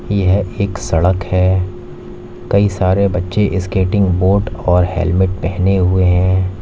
यह एक सड़क है कई सारे बच्चे स्केटिंग बोर्ड और हेलमेट पहने हुए हैं।